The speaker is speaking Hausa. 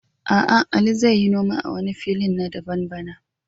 A'a, Ali zai yi noma a wani filin na daban bana